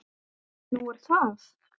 Nú er það?